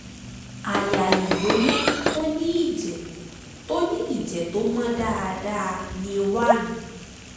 àyà ìgbóná tó ní ìjẹ̀ tó ní ìjẹ̀ tó mọ́ dáadáa ní one